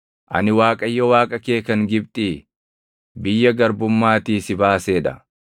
“Ani Waaqayyo Waaqa kee kan Gibxii, biyya garbummaatii si baasee dha.